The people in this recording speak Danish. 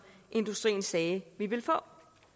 industrien sagde vi ville få